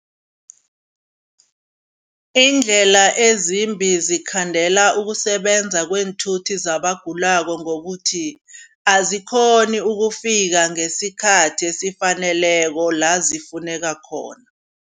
Iindlela ezimbi zikhandela ukusebenza kweenthuthi zabagulako ngokuthi azikghoni ukufika ngesikhathi esifaneleko la zifuneka khona.